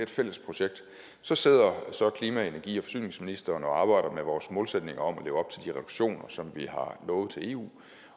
fælles projekt så sidder klima energi og forsyningsministeren og arbejder med vores målsætning om at leve op til de reduktioner som vi har lovet til eu